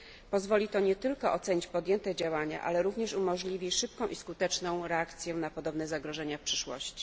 Pozwoli to nie tylko ocenić podjęte działania, ale również umożliwi szybką i skuteczną reakcję na podobne zagrożenia w przyszłości.